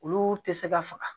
Olu tɛ se ka faga